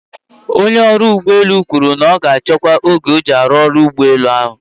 Onye ọrụ ụgbọ elu kwuru na ọ ga-achọkwu oge iji rụọ ọrụ n'ụgbọelu ahụ